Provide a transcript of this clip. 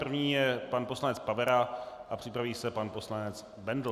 První je pan poslanec Pavera a připraví se pan poslanec Bendl.